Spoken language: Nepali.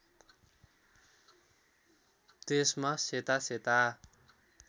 त्यसमा सेता सेता